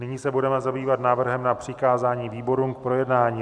Nyní se budeme zabývat návrhem na přikázání výborům k projednání.